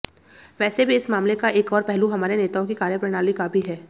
वैसे भी इस मामले का एक और पहलू हमारे नेताओं की कार्यप्रणाली का भी है